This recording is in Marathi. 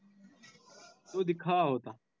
तो दिखावा होता.